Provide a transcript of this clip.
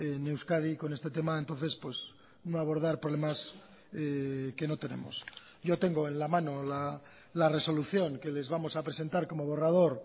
en euskadi con este tema entonces no abordar problemas que no tenemos yo tengo en la mano la resolución que les vamos a presentar como borrador